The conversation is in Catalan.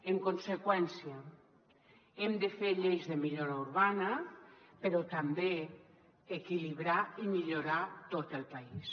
en conseqüència hem de fer lleis de millora urbana però també equilibrar i millorar tot el país